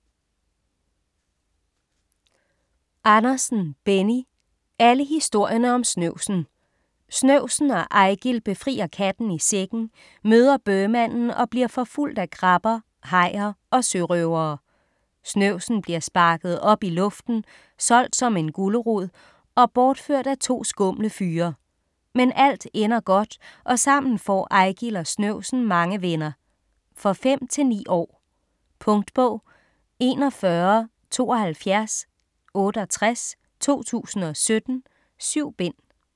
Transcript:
Andersen, Benny: Alle historierne om snøvsen Snøvsen og Eigil befrier katten i sækken, møder bøhmanden og bliver forfulgt af krabber, hajer og sørøvere. Snøvsen bliver sparket op i luften, solgt som en gulerod og bortført af to skumle fyre. Men alt ender godt og sammen får Eigil og snøvsen mange venner. For 5-9 år. Punktbog 417268 2017. 7 bind.